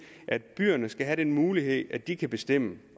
at byerne skal have den mulighed at de kan bestemme